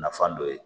Nafan dɔ ye